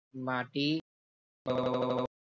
માટી